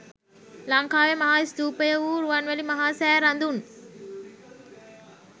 ලංකාවේ මහා ස්තූපය වූ රුවන්වැලි මහා සෑ රදුන්